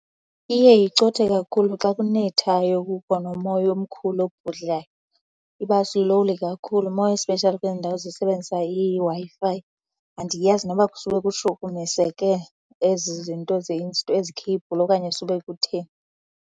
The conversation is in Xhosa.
Iye icothe kakhulu xa kunethayo kukho nomoya omkhulu obhudlayo. Iba slow kakhulu more especially kwezi ndawo zisebenzisa iWi-Fi. Andiyazi noba kusube kushukumiseke ezi zinto ezi kheybhuli okanye sube kutheni.